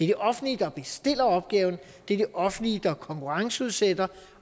det offentlige der bestiller opgaven det er det offentlige der er konkurrenceudsætter